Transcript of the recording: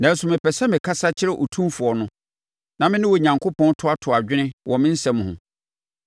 Nanso mepɛ sɛ mekasa kyerɛ Otumfoɔ no na me ne Onyankopɔn toatoa adwene wɔ mʼasɛm ho.